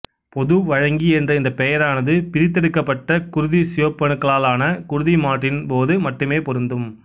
பொது வழங்கி என்ற இந்த பெயரானது பிரித்தெடுக்கப்பட்ட குருதிச் சிவப்பணுக்களாலான குருதி மாற்றீட்டின்போது மட்டுமே பொருந்தும்